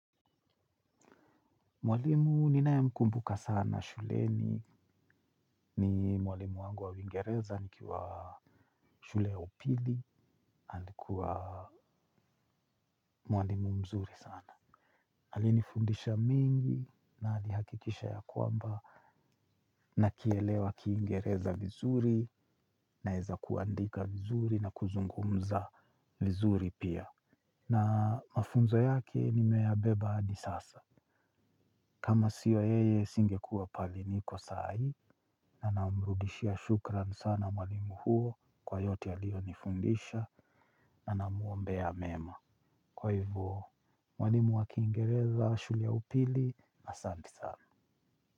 Mwalimu ninae mkumbuka sana shuleni, ni mwalimu wangu wa uingereza nikiwa shule upili, alikuwa mwalimu mzuri sana. Alinifundisha mingi, na alihakikisha ya kwamba, nakielewa Kiingereza vizuri, naeza kuandika vizuri, na kuzungumza vizuri pia. Na mafunzo yake nime yabeba hadi sasa kama siyo yeye singekuwa pahali niko saa hii. Na namrudishia shukran sana mwalimu huo kwa yote alionifundisha na namuombea mema, kwa hivyo mwalimu wakiingereza shule ya upili asante sana.